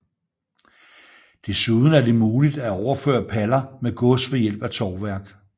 Desuden er det muligt at overføre paller med gods ved hjælp af tovværk